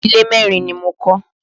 Ilé merin ni mo kọ́